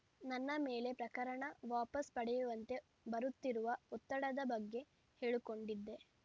ನನ್ನ ಮೇಲೆ ಪ್ರಕರಣ ವಾಪಸ್‌ ಪಡೆಯುವಂತೆ ಬರುತ್ತಿರುವ ಒತ್ತಡದ ಬಗ್ಗೆ ಹೇಳಿಕೊಂಡಿದ್ದೆ